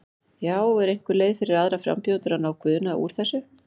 Já, er einhver leið fyrir aðra frambjóðendur að ná Guðna úr þessu?